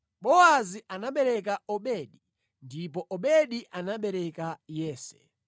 Bowazi anabereka Obedi ndipo Obedi anabereka Yese.